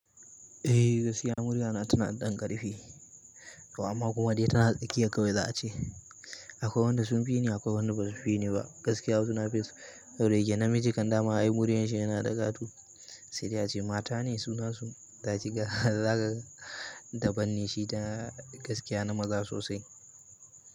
Eh gaskiya murya na tana ɗan ƙarfi, amma kuma dai tana tsakiya kawai za a ce. Akwai wanda sun fi ni, akwai wanda ba su fi ni ba. Gaskiya wasu na fesa, koda yake miji kamdama ai muriya shi yana da ƙato sai dai ce mata ne suna su zaki ga zakaga da ban ne shi da gaskiya na maza sosai.